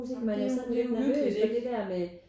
Det er det er uhyggeligt ikke?